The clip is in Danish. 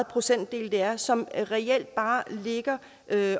procentdel det er som reelt bare ligger